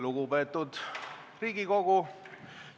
Lugupeetud Riigikogu!